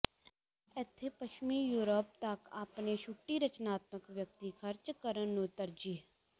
ਇੱਥੇ ਪੱਛਮੀ ਯੂਰਪ ਤੱਕ ਆਪਣੇ ਛੁੱਟੀ ਰਚਨਾਤਮਕ ਵਿਅਕਤੀ ਖਰਚ ਕਰਨ ਨੂੰ ਤਰਜੀਹ